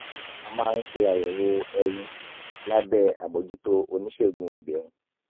a a máa ń ṣe àyẹ̀wò ẹyin lábẹ́ àbójútó oníṣègùn obìnrin